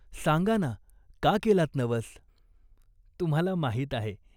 सांगा ना, का केलात नवस ?" "तुम्हाला माहीत आहे.